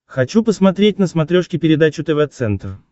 хочу посмотреть на смотрешке передачу тв центр